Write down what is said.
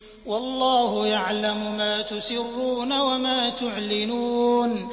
وَاللَّهُ يَعْلَمُ مَا تُسِرُّونَ وَمَا تُعْلِنُونَ